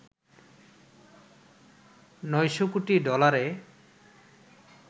৯০০ কোটি ডলারে